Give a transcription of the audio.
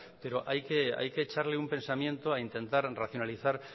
pero hay que echarle un pensamiento a intentar racionalizar